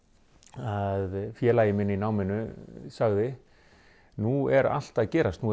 að félagi minn í náminu sagði nú er allt að gerast